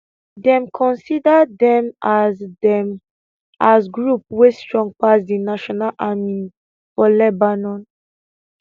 dem consider dem as dem as group wey strong pass di national army for lebanon